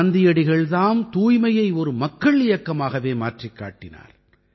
காந்தியடிகள் தாம் தூய்மையை ஒரு மக்கள் இயக்கமாகவே மாற்றிக் காட்டினார்